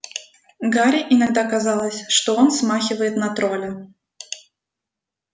гарри иногда казалось что он смахивает на тролля